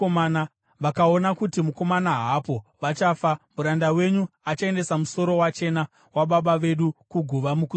vakaona kuti mukomana haapo, vachafa. Muranda wenyu achaendesa musoro wachena wababa vedu kuguva mukusuwa.